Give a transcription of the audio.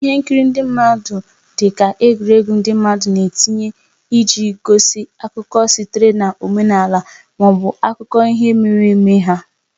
Ihe nkiri ndị mmadụ dị ka egwuregwu ndị mmadụ na-etinye iji gosi akụkọ sitere na omenala ma ọ bụ akụkọ ihe mere eme ha.